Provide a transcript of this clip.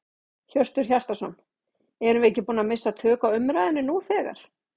Hjörtur Hjartarson: Erum við ekki búin að missa tök á umræðunni nú þegar?